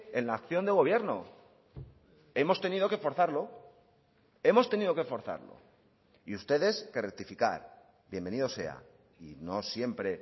en la acción de gobierno hemos tenido que forzarlo hemos tenido que forzarlo y ustedes que rectificar bienvenido sea y no siempre